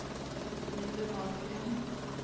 Hildur Ahlgren